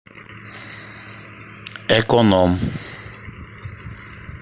эконом